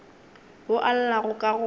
wo o llago ka go